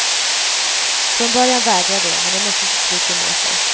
Från början vägrar de men de måste till slut ge med sig.